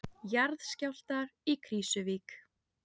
Jarðskjálftar í Krýsuvík